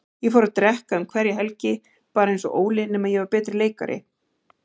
Ég fór að drekka um hverja helgi, bara einsog Óli, nema ég var betri leikari.